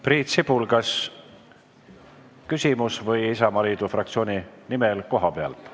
Priit Sibul, kas küsimus või Isamaaliidu fraktsiooni nimel kohalt?